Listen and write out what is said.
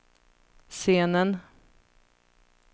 scenen